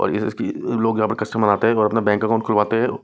और इस इस की लोग यहां पर कस्टमर बनाते हैं और अपना बैंक अकाउंट खुलवाते हैं।